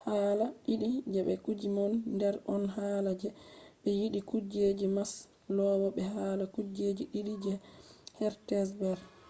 hala didi je be kuje woni der on hala je no be yidi kuje je maslow be hala kujeji didi je hertzberg